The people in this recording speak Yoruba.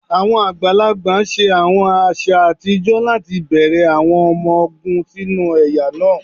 Awọn agbalagba ṣe awọn aṣa atijọ lati bẹrẹ awọn ọmọ ogun sinu ẹya naa.: